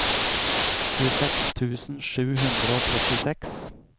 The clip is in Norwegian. tjueseks tusen sju hundre og trettiseks